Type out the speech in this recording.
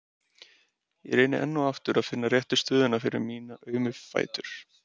Ég reyni enn og aftur að finna réttu stöðuna fyrir mína aumu fætur.